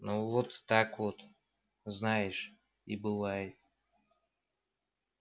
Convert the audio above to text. ну вот так вот знаешь и бывает